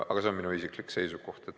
Aga see on minu isiklik seisukoht.